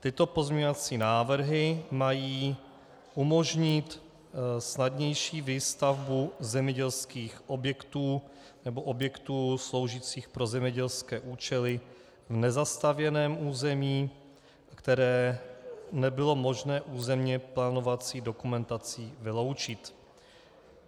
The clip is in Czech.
Tyto pozměňovací návrhy mají umožnit snadnější výstavbu zemědělských objektů nebo objektů sloužících pro zemědělské účely v nezastavěném území, které nebylo možné územně plánovací dokumentací vyloučit.